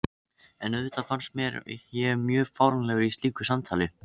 En auðvitað fannst mér ég mjög fáránlegur í slíku samtali.